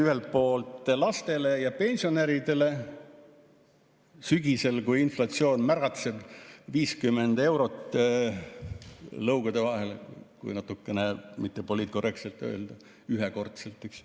Ühelt poolt lastele ja pensionäridele sügisel, kui inflatsioon märatseb, 50 eurot lõugade vahele, kui mittepoliitkorrektselt öelda, ühekordselt.